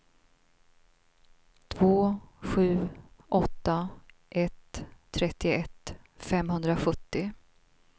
två sju åtta ett trettioett femhundrasjuttio